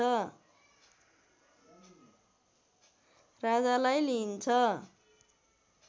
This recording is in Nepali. राजालाई लिइन्छ